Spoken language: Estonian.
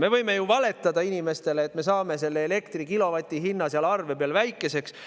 Me võime ju valetada inimestele, et me saame elektri kilovati hinna arve peal väikeseks.